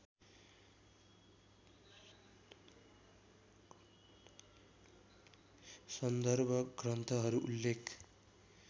सन्दर्भ ग्रन्थहरू उल्लेख